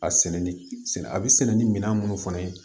A sɛnɛ ni a bɛ sɛnɛ ni minɛn minnu fana ye